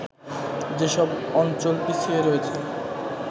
যেসব অঞ্চল পিছিয়ে রয়েছে